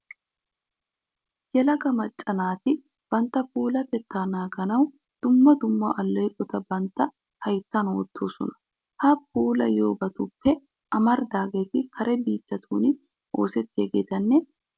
Yelaga macca naati bantta puulatettaa naaganawu dumma dumma alleeqota bantta hayttan wottoosona. Ha puulattiyobatuppe amaridaageeti kare biittatun oosettiyageetanne guutta miishshaa ekkiyageeta.